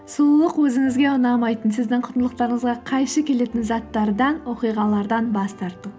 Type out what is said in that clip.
сұлулық өзіңізге ұнамайтын сіздің құндылықтарыңызға қайшы келетін заттардан оқиғалардан бас тарту